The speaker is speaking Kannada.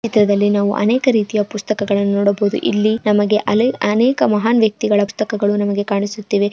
ಈ ಚಿತ್ರದಲ್ಲಿ ನಾವು ಅನೇಕ ರೀತಿಯ ಪುಸ್ತಕಗಳನ್ನು ನೋಡಬಹುದು. ಇಲ್ಲಿ ನಮಗೆ ಅಲೆ ಅನೇಕ ಮಹಾನ್ ವ್ಯಕ್ತಿಗಳ ಪುಸ್ತಕಗಳು ನಮಗೆ ಕಾಣಿಸುತ್ತಿವೆ.